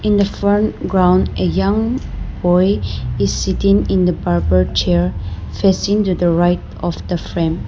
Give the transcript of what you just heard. In the front ground a young boy is sitting in the barber chair facing to the right of the frame.